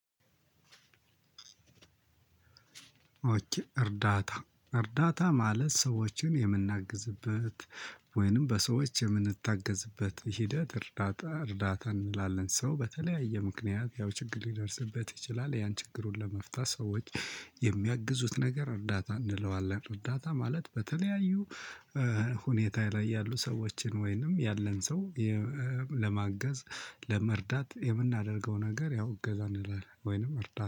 እርዳታ እርዳታ ማለት ሰዎችን የምንናግዝበት ወይንም በሰዎች የምንታገዝበት ሂደት እርዳታ እርዳታ እንላለን። ሰው በተለያየ ምክንያት ያው ችግር ሊደርስበት ይችላል። ያን ችግሩን ለመፍታት ሰዎች የሚያግዙት ነገር እርዳታ እንለዋለን። እርዳታ ማለት በተለያዩ ሁኔታ ላይ ያሉ ሰዎችን ወይንም ያለን ሰው ለማገዝ ለመርዳት የምናረገው ነገር ያው እገዛ እንላለን። ወይንም እርዳታ